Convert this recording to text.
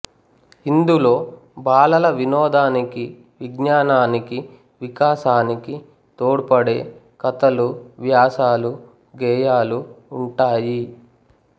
ఇందులో బాలల వినోదానికి విజ్ఞానానికి వికాసానికి తోడ్పడే కథలు వ్యాసాలు గేయాలు ఉంటాయి